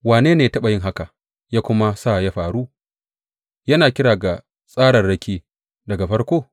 Wane ne ya taɓa yin haka ya kuma sa ya faru, yana kira ga tsararraki daga farko?